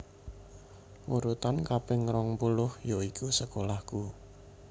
Urutan kaping rong puluh yoiku sekolahku